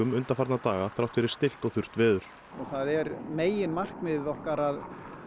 undanfarna daga þrátt fyrir stillt og þurrt veður það er meginmarkmið okkar